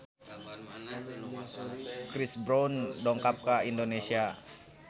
Chris Brown dongkap ka Indonesia